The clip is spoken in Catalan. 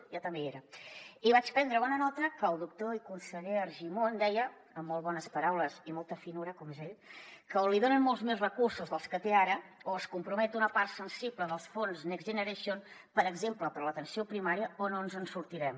jo també hi era i vaig prendre bona nota que el doctor i conseller argimon deia amb molt bones paraules i molta finor com és ell que o li donen molts més recursos dels que té ara o es compromet una part sensible dels fons next generation per exemple per a l’atenció primària o no ens en sortirem